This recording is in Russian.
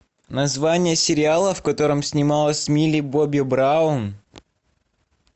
название сериала в котором снималась милли бобби браун